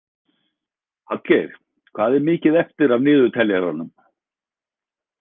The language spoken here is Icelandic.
Hallgeir, hvað er mikið eftir af niðurteljaranum?